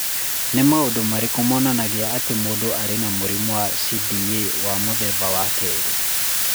Nĩ maũndũ marĩkũ monanagia atĩ mũndũ arĩ na mũrimũ wa C.D.A. wa mũthemba wa kerĩ?